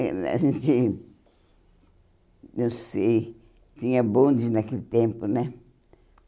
eh A gente, eu sei, tinha bondes naquele tempo, né?